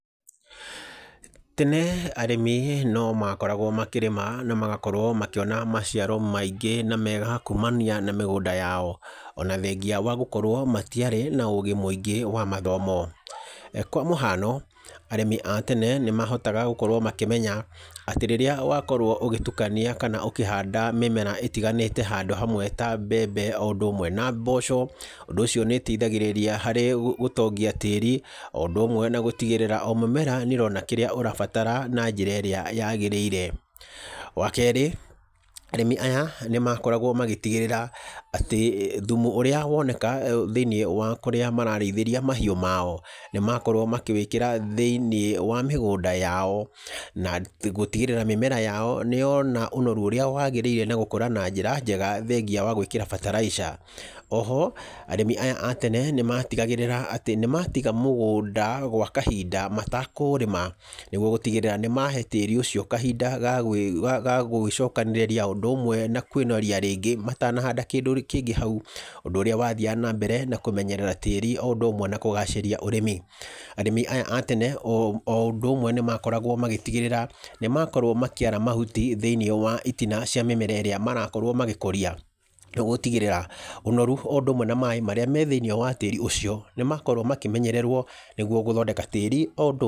Tene arĩmi no makoragwo makĩrĩma na magakorwo makĩona maciaro maingĩ na mega kumania na mĩgũnda yao, ona thengia wa gũkorwo matiarĩ na ũũgĩ mũingĩ wa nathomo. Kwa mũhano, arĩmi a tene nĩ mahotaga gũkorwo makĩmenya atĩ rĩrĩa wakorwo ũgĩtukania kana ũkĩhanda mĩmera ĩtiganĩte handũ hamwe ta mbembe o ũndũ ũmwe na mboco, ũndũ ũcio nĩ ũteithagĩrĩria harĩ gũtongia tĩĩri, o ũndũ ũmwe na gũtigĩrĩra o mũmera nĩ ũrona kĩrĩa ũrabatara na njĩra ĩrĩa yagĩrĩire. Wa keerĩ, arĩmi aya nĩ makoragwo magĩtigĩrĩra atĩ thumu ũrĩa woneka thĩ-inĩ wa kũrĩa mararĩithĩia mahiũ mao, nĩ makorwo makĩwĩkĩra thĩ-inĩ wa mĩgũnda yao, na gũtigĩrĩra mĩmera yao nĩ yona ũnoru ũrĩa wagĩrĩire na gũkũra na njĩra njega thengia wa gwĩkĩra bataraitha. Oho, arĩmi aya a tene nĩ matigagĩrĩra atĩ nĩ matiga mũgũnda gwa kahinda matakũũrĩma, nĩguo gũtigĩrĩra nĩ mahee tĩĩri ũcio kahinda ga gwĩcokanĩrĩria o ũndũ ũmwe na kwĩnoria rĩngĩ matanahanda kĩndũ kĩngĩ hau, ũndũ ũrĩa wathiaga na mbere na kũmenyerera tĩĩri o ũndũ ũmwe na kũgacĩria ũrĩmi. Arĩmi aya a tene o ũndũ ũmwe nĩ makoragwo magĩtigĩrĩra nĩ makorwo makĩara mahuti thĩ-inĩ wa itina ya mĩmera ĩrĩa marakorwo magĩkũria, nĩguo gũtigĩrĩra ũnoru o ũndũ ũmwe na maaĩ marĩa me thĩini wa tĩĩri ũcio nĩ makorwo makĩmenyererwo nĩguo gũthondeka tĩĩri o ũndũ...